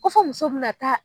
Ko fɔ muso bi na taa